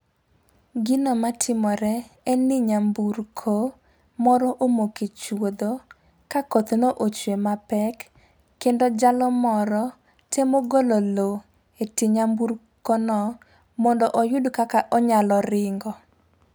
Gino matimore, en ni nyamburko, moro omoke chuodho , ka koth ne ochwee mapek kendo jalo moro temo golo loo e tie nyamburkono mondo oyud kaka onyalo ringo.